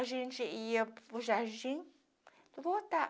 A gente ia para o jardim e voltava.